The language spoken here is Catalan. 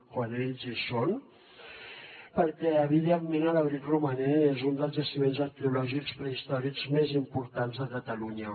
quan ells hi són perquè evidentment l’abric romaní és un dels jaciments arqueològics prehistòrics més importants de catalunya